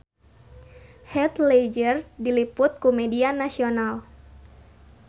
Heath Ledger diliput ku media nasional